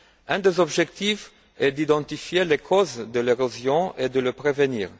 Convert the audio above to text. Un des objectifs est d'identifier les causes de l'érosion et de la prévenir.